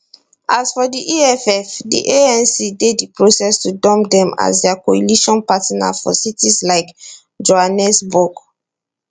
as for di eff di anc dey di process to dump dem as dia coalition partner for cities like johannesburg